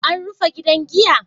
An rufe gidan giya?